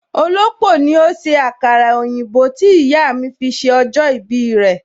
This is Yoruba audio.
Olópò ni ó ṣe àkàrà òyìnbó tí ìyà mi fi ṣe ọjọ́ ìbí rẹ